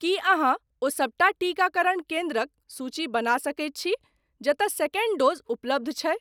की अहाँ ओ सबटा टीकाकरण केन्द्रक सूची बना सकैत छी जतय सेकंड डोज़ उपलब्ध छै?